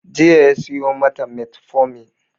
Jiya ya siyo mata metformin